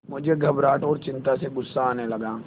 मुझे घबराहट और चिंता से गुस्सा आने लगा